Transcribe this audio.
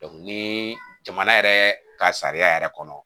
ni jamana yɛrɛ ka sariya yɛrɛ kɔnɔ